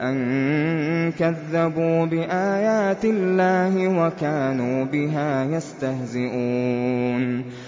أَن كَذَّبُوا بِآيَاتِ اللَّهِ وَكَانُوا بِهَا يَسْتَهْزِئُونَ